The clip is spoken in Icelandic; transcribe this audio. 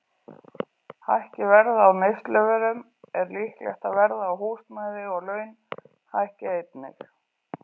Hækki verð á neysluvörum er líklegt að verð á húsnæði og laun hækki einnig.